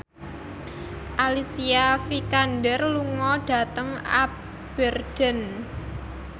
Alicia Vikander lunga dhateng Aberdeen